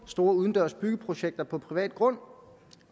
store udendørs byggeprojekter på privat grund